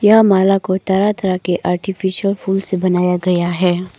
यह माला को तरह तरह के आर्टिफिशियल फूल से बनाया गया है।